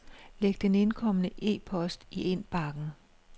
Læg den indkomne e-post i indbakken.